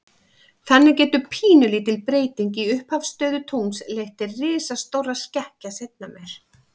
Þannig getur pínulítil breyting í upphafsstöðu tungls leitt til risastórra skekkja seinna meir.